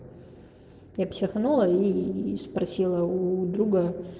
я психанула и спросила у друга